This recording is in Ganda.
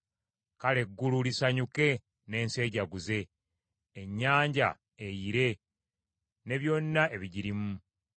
Kale eggulu lisanyuke n’ensi ejaguze; ennyanja eyire ne byonna ebigirimu.